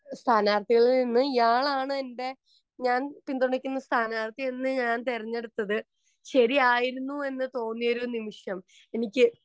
സ്ഥാനാർത്ഥികളിൽ നിന്ന് ഞാനാണ് എൻ്റെ ഞാൻ പിന്തുണക്കുന്ന സ്ഥാനാർത്ഥി നിന്ന് ഞാൻ തെരഞ്ഞടുത്തത് ശരിയായിരിന്നു എന്ന് തോന്നിയൊരു നിമിഷം എനിക്ക്